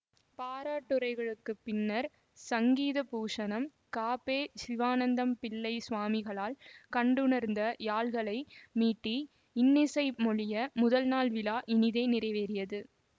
பாராட்டுரைகளுக்குப் பின்னர் சங்கீதபூஷணம் கபெ சிவானந்தம் பிள்ளை சுவாமிகளால் கண்டுணர்ந்த யாழ்களை மீட்டி இன்னிசை பொழிய முதல் நாள் விழா இனிதே நிறைவேறியது